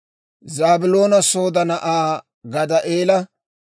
Zaabiloona Sooda na'aa Gaddi'eela;